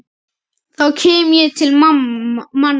þá kem ég til manna.